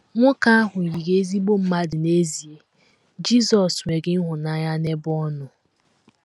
Nwoke ahụ yiri ezigbo mmadụ n’ezie, Jizọs ‘ nwere ịhụnanya n’ebe ọ nọ. ’